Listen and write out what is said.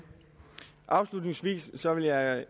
sådan at